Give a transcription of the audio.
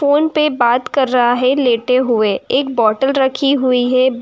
Phone पे बाते कर रहा है लेटे हुए एक बोतल रखी हुई है।